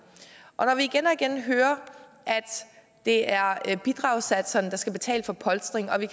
og når vi igen og igen hører at det er bidragssatserne der skal betale for polstringen og vi